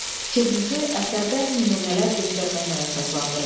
Fikrinizi əsərdən nümunələr göstərməklə əsaslandırın.